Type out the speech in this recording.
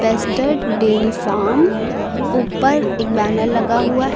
Western dairy farm ऊपर एक banner लगा हुआ है।